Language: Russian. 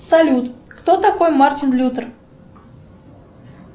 салют кто такой мартин лютер